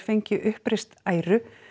fengi uppreist æru